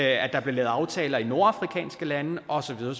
at der blev lavet aftaler med de nordafrikanske lande og så videre